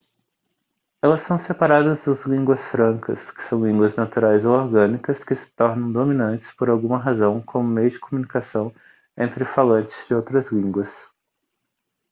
elas são separadas das línguas francas que são línguas naturais ou orgânicas que se tornam dominantes por alguma razão como meio de comunicação entre falantes de outras línguas